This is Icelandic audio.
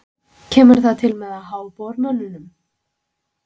Kemur það til með að há bormönnum?